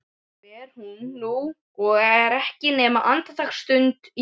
Fer hún nú og er ekki nema andartaksstund í burtu.